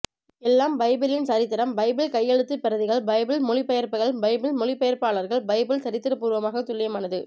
எல்லாம் பைபிளின் சரித்திரம் பைபிள் கையெழுத்துப் பிரதிகள் பைபிள் மொழிபெயர்ப்புகள் பைபிள் மொழிபெயர்ப்பாளர்கள் பைபிள் சரித்திரப்பூர்வமாகத் துல்லியமானது